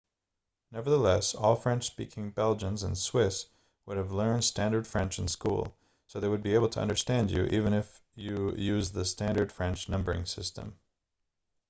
nevertheless all french-speaking belgians and swiss would have learned standard french in school so they would be able to understand you even if you used the standard french numbering system